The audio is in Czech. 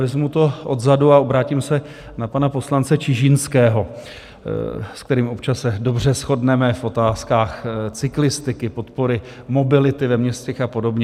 Vezmu to odzadu a obrátím se na pana poslance Čižinského, s kterým občas se dobře shodneme v otázkách cyklistiky, podpory mobility ve městech a podobně.